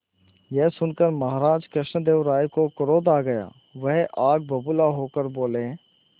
यह सुनकर महाराज कृष्णदेव राय को क्रोध आ गया वह आग बबूला होकर बोले